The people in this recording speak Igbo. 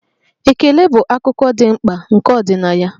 Ekele bụ akụkụ dị mkpa nke ọdịnaya.